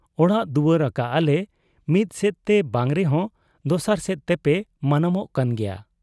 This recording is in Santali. ᱚᱲᱟᱜ ᱫᱩᱣᱟᱹᱨ ᱟᱠᱟᱜ ᱟᱞᱮ, ᱢᱤᱫᱥᱮᱫᱛᱮ ᱵᱟᱝ ᱨᱮᱦᱚᱸ ᱫᱚᱥᱟᱨ ᱥᱮᱫ ᱛᱮᱯᱮ ᱢᱟᱱᱟᱣᱜ ᱠᱟᱱ ᱜᱮᱭᱟ ᱾